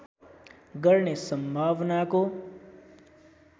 गर्ने सम्भावनाको